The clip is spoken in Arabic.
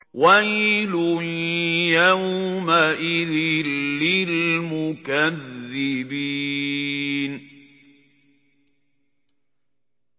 وَيْلٌ يَوْمَئِذٍ لِّلْمُكَذِّبِينَ